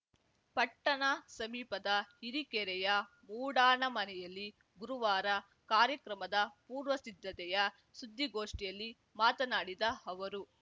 ಪಟ್ಟಣ ಸಮೀಪದ ಹಿರಿಕೆರೆಯ ಮೂಡಣಮನೆಯಲ್ಲಿ ಗುರುವಾರ ಕಾರ್ಯಕ್ರಮದ ಪೂರ್ವಸಿದ್ಧತೆಯ ಸುದ್ದಿಗೋಷ್ಠಿಯಲ್ಲಿ ಮಾತನಾಡಿದ ಅವರು